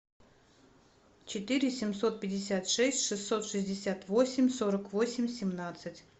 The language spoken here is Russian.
четыре семьсот пятьдесят шесть шестьсот шестьдесят восемь сорок восемь семнадцать